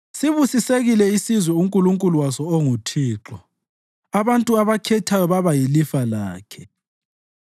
Sibusisekile isizwe uNkulunkulu waso onguThixo, abantu abakhethayo baba yilifa lakhe.